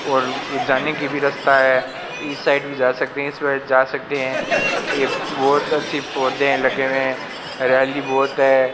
और जाने की भी रास्ता है इस साइड भी जा सकते हैं इस जा सकते हैं ये बहोत अच्छी पौधे लगे हुए हैं हरियाली बहोत है।